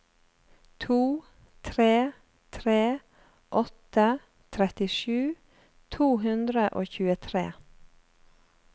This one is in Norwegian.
to tre tre åtte trettisju to hundre og tjuetre